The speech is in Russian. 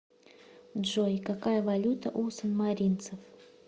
джой какая валюта у санмаринцев